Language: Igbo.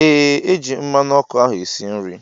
Ee eji m mmanụ ọkụ ahụ esi nri